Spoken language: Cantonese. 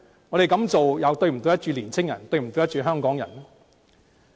我們這樣做又是否對得起年青人和香港人呢？